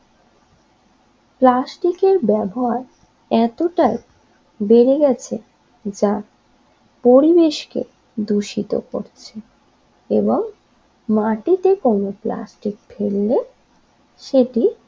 প্লাস্টিকের ব্যবহার এতটাই বেড়ে গেছে যা পরিবেশকে দূষিত করছে এবং মাটিতে কোন প্লাস্টিক ফেললে সেটি